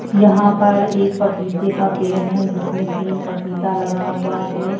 यहां पर एक पपीते का पेड़ है जिसमें तीन पपीता लगा हुआ है।